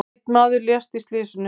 Einn maður lést í slysinu.